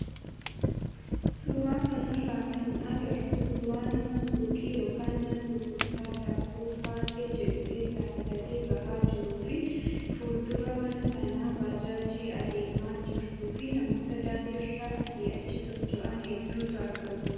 Suuraa kanarraa kan agarru suuraa nama suuqii yookaan mana gurgurtaa daabboo Faaxee jedhu keessaa bitatee bahaa jiruu fi fuuldura mana sanaa baajaajii adeemaa jirtuu fi namoota daandiirra asii achi socha'an hedduutu argama.